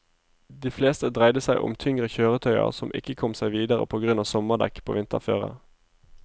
De fleste dreide seg om tyngre kjøretøyer som ikke kom seg videre på grunn av sommerdekk på vinterføre.